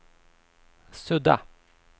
sudda